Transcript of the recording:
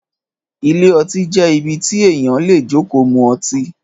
Ìlé õtí jé ìbí tí èyan lé jòkò mú õtí